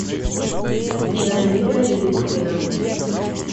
зинаида редькина